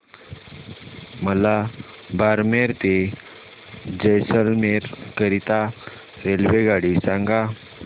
मला बारमेर ते जैसलमेर करीता रेल्वेगाडी सांगा